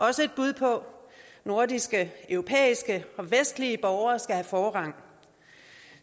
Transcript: også et bud på nordiske europæiske og vestlige borgere skal have forrang